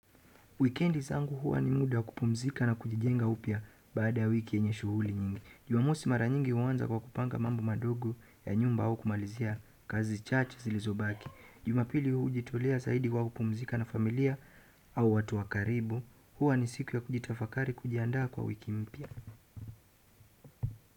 Wikendi zangu huwa ni muda wa kupumzika na kujijenga upya baada wiki yenye shughuli nyingi. Jumamosi mara nyingi uanza kwa kupanga mambo madogo ya nyumba au kumalizia kazi chache zilizobaki. Jumapili hujitolea zaidi kwa kupumzika na familia au watu wa karibu. Huwa ni siku ya kujitafakari kujiandaa kwa wiki mpya.